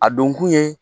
A don kun ye